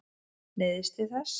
Neyðist til þess.